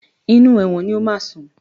Inú ẹ̀wọ̀n ni o máa sùn.